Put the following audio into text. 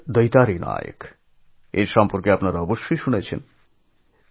ওড়িশার দৈতারী নায়কএর কথা আপনারা নিশ্চয়ই শুনেছেন